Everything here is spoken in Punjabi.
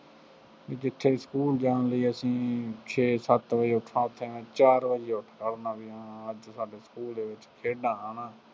ਜਿੱਥੇ ਸਕੂਲ ਜਾਣ ਲਈ ਅਸੀਂ ਛੇ ਸੱਤ ਵਜੇ ਉੱਠਣਾ, ਉੱਥੇ ਮੈਂ ਚਾਰ ਵਜੇ ਉੱਠਦਾ ਹੁੰਦਾ ਸੀਗਾ ਮੈਂ ਸਾਡੇ ਸਕੂ਼ਲ ਦੇ ਵਿੱਚ ਖੇਡਾਂ ਹੈ ਨਾ